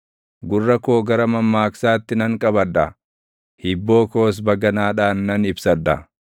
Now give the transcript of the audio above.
Gurra koo gara mammaaksaatti nan qabadha; hibboo koos baganaadhaan nan ibsadha.